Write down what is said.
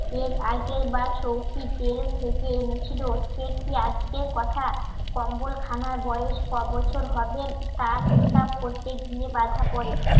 এর আগের বার সৌখিন জেল থেকে এনেছিল সে কি আজকের কথা কম্বল খানার বয়স ক বছর হবে তার হিসাব করতে গিয়ে বাঁধা পড়ে